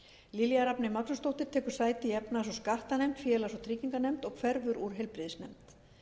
lilja rafney magnúsdóttir tekur sæti í efnahags og skattanefnd félags og tryggingamálanefnd og hverfur úr heilbrigðisnefnd